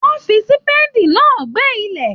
Wọn fí sípédí náà gbẹ́ ilẹ̀.